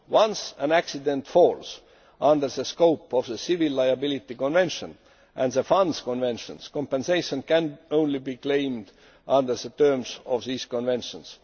Once an accident falls under the scope of the Civil Liability Convention and the Funds Conventions, compensation can only be claimed under the terms of these conventions.